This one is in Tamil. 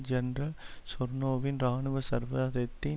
ஜெனரல் செர்னோவின் இராணுவ சர்வாதத்தை